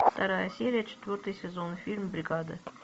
вторая серия четвертый сезон фильм бригада